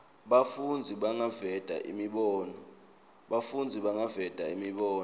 bafundzi bangaveta imibono